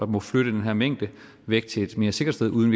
må flytte den her mængde væk til en mere sikkert sted uden